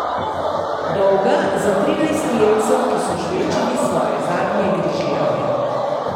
Dolga, za trinajst jedcev, ki so žvečili svoje zadnje grižljaje.